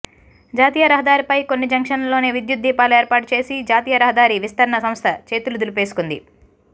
జాతీయరహదారిపై కొన్ని జంక్షన్లలోనే విద్యుత్ దీపాలు ఏర్పాటుచేసి జాతీయరహదారి విస్తరణసంస్థ చేతులు దులుపేసు కుంది